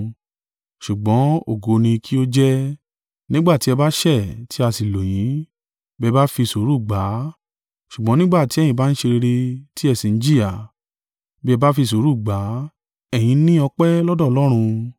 Ṣùgbọ́n ògo kín ni ó jẹ́, nígbà tí ẹ ba ṣẹ̀ tí a sì lù yín, bí ẹ bá fi sùúrù gbà á? Ṣùgbọ́n nígbà tí ẹ̀yin bá ń ṣe rere tí ẹ sì ń jìyà, bí ẹ bá fi sùúrù gbà á, ẹ̀yín ní ọpẹ́ lọ́dọ̀ Ọlọ́run.